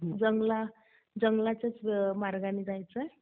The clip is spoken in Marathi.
जंगलाच्याच मार्गाने जायचयं.